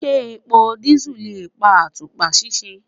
Ṣé epo dísù lè bá àtùpà ṣiṣẹ́.